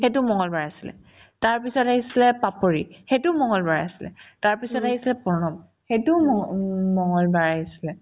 সেইটো মংগলবাৰ আছিলে তাৰপিছত আহিছিলে পাপৰি সেইটোও মংগলবাৰে আছিলে তাৰপিছত আহিছে প্ৰণৱ সেইটোও মংগল মংগলবাৰে আহিছিলে